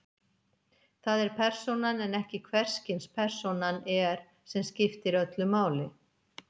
Það er persónan en ekki hvers kyns persónan er sem skiptir öllu máli.